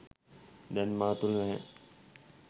දැන් මා තුළ නැහැ.